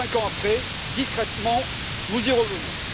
Cinq ans après, discrètement, nous y revenons.